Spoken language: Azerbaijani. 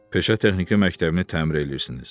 Peşə Texniki Məktəbini təmir eləyirsiniz.